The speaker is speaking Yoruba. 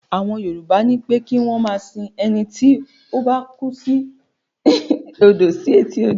Àwọn Yorùbá ni pé kí wọ́n ma sin ẹnití ó bá kú sọ́dọ̀ sí ẹgbẹ́ odò